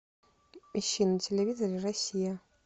ищи на телевизоре россия